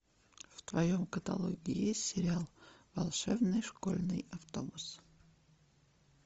в твоем каталоге есть сериал волшебный школьный автобус